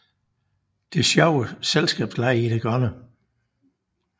Der er sjove selskabslege i det grønne